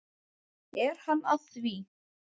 Er hann að því?